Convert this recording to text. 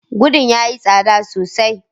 Godon yayi tsada sosai